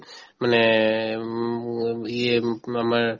মানে উম আমাৰ